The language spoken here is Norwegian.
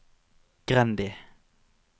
Grendi